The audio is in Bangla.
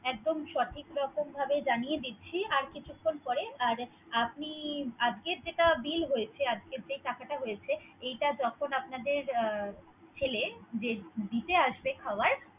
একদম সঠিক রকমভাবে জানিয়ে দিচ্ছি আর কিছুখন পরে। আপনি আজকে যে টাকাটা হয়েছে যখন আমাদের যে ছেলে যে দিতে আসবে খাবার।